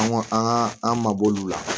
An ko an ka an mabɔ olu la